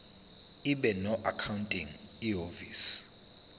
ibe noaccounting ihhovisir